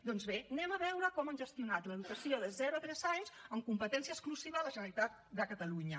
doncs bé anem a veure com han gestionat l’educació de zero a tres anys amb competència exclusiva a la generalitat de catalunya